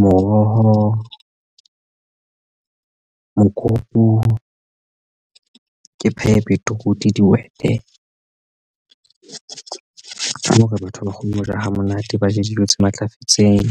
moroho mokopu ee phehe beetroot, dihwete hore batho ba kgone ho ja ha monate ba je dijo tse matlafetseng.